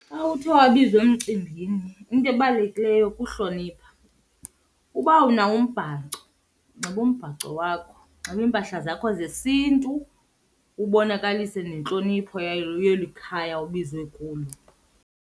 Xa uthe kwabizwa emcimbini into ebalulekileyo kuhlonipha. Uba unawo umbhaco nxiba umbhaco wakho, nxiba iimpahla zakho zesiNtu, ubonakalise nentlonipho yayo yeli khaya ubizwe kulo.